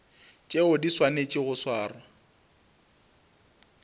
tšeo di swanetšego go swarwa